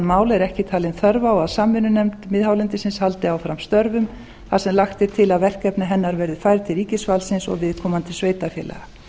mála er ekki talin þörf á að samvinnunefnd miðhálendisins haldi áfram störfum þar sem lagt er til að verkefni hennar verði færð til ríkisvaldsins og viðkomandi sveitarfélaga